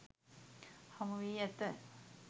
හමුවී ඇත.